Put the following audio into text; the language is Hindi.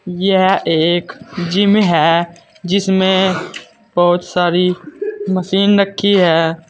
यह एक जिम है जिसमें बहोत सारी मशीन रखी है।